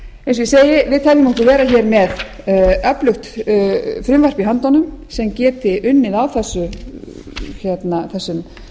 eins og ég segi við teljum okkur vera hér með öflugt frumvarp í höndunum sem geti unnið á þessum